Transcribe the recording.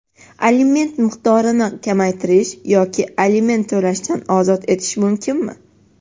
Aliment miqdorini kamaytirish yoki aliment to‘lashdan ozod etish mumkinmi?.